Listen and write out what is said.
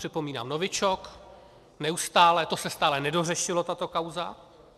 Připomínám novičok, neustále, to se stále nedořešilo, tato kauza.